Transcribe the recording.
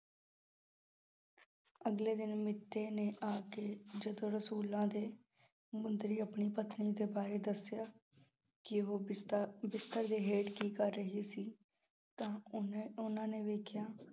ਅਗਲੇ ਦਿਨ ਮੀਤੇ ਨੇ ਆ ਕੇ ਜਦੋਂ ਰਸੂਲਾਂ ਦੇ, ਮੁੰਦਰੀ ਆਪਣੀ ਪਤਨੀ ਦੇ ਬਾਰੇ ਦੱਸਿਆ, ਕਿ ਉਹ ਬਿਸਤ ਅਹ ਬਿਸਤਰ ਦੇ ਹੇਠ ਕੀ ਕਰ ਰਹੀ ਸੀ? ਤਾਂ ਉਨ ਅਹ ਉਹਨਾਂ ਨੇ ਵੇਖਿਆ